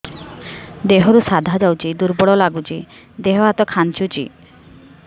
ଦେହରୁ ସାଧା ଯାଉଚି ଦୁର୍ବଳ ଲାଗୁଚି ଦେହ ହାତ ଖାନ୍ଚୁଚି